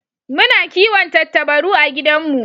Muna kiwon Tattabaru a gidan mu